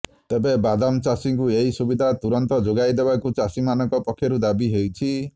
ତେବେ ବାଦାମ ଚାଷୀଙ୍କୁ ଏହି ସୁବିଧା ତୁରନ୍ତ ଯୋଗାଇ ଦେବାକୁ ଚାଷୀମାନଙ୍କ ପକ୍ଷରୁ ଦାବି ହୋଇଛି